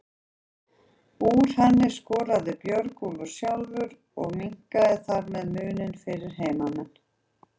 Úr henni skoraði Björgólfur sjálfur og minnkaði þar með muninn fyrir heimamenn.